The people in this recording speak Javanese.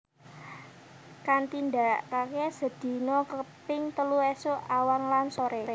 Kantindakake sedina kaping telu esuk awan lan sore